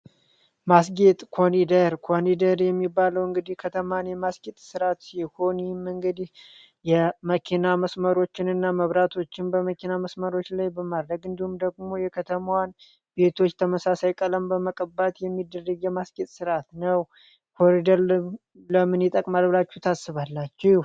ማስጌጥ ኮኒደር የሚባለው እንግዲህ ከተማን የማስጌት ስራ ሲሆን ይህም እንግዲህ የመኪና መስመሮችንና መብራቶችን በመኪና መስመሮች ላይ በማድረግ እንዲሁም ደግሞ የከተማዋ ቤቶች የተመሳሳይ ቀለም በመቀባት የሚደረጉ ነው። ኮኒደር ለምን ይጠቅማል ብላችሁ ታስባላችሁ።